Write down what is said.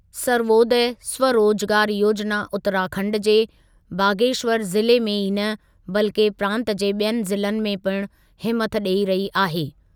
सर्वोदय स्वरोजगार योजना उतराखंड जे बागेश्वर ज़िले में ई न, बल्कि प्रांत जे ॿियनि ज़िलनि में पिणु हिमथ ॾेई रही आहे।